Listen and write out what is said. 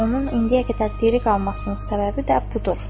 Onun indiyə qədər diri qalmasının səbəbi də budur.